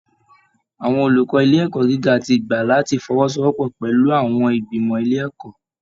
Àwọn olùkọ́ ilé ẹ̀kọ́ gíga ti gbà láti fọwọ́sowọ́pọ̀ pẹ̀lú àwọn ìgbìmọ̀ ilé ẹ̀kọ́